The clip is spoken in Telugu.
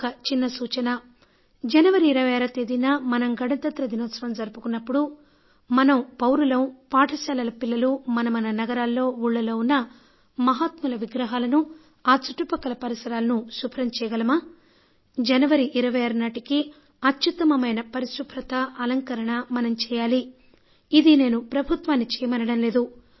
ఒక చిన్న సూచన జనవరి 26న మనం గణతంత్ర దినోత్సవం జరుపుకున్నప్పుడు మనం పౌరులం బడి పిల్లలు మన మన నగరాల్లో ఊళ్ళలో ఉన్న మహాత్ముల విగ్రహాలను ఆ చుట్టపక్కల పరిసరాలను శుభ్రం చేయగలమా జనవరి 26 నాటికి అత్యుత్తమమైన పరిశుభ్రత అలంకరణ మనం చేయగలమా ఇది నేను ప్రభుత్వాన్ని చేయమనడం లేదు